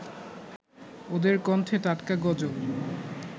ওদের কণ্ঠে টাটকা গজল